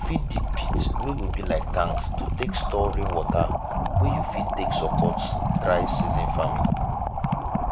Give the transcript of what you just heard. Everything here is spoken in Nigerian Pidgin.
you fit dig pits wey go be like tanks to take store rain water wey you fit take support dry season farming